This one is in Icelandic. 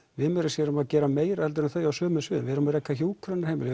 við meira segja erum að gera meira heldur en þau á sumum sviðum við erum að reka hjúkrunarheimili